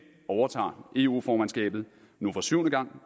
overtager eu formandskabet nu for syvende gang